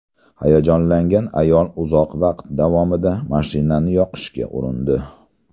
Hayajonlangan ayol uzoq vaqt davomida mashinani yoqishga urindi.